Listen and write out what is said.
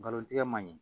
Nkalon tigɛ ma ɲi